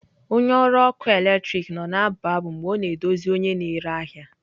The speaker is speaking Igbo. Onye ọrụ ọkụ eletrik nọ na-abụ abụ mgbe ọ na-edozi onye na-ere ahịa.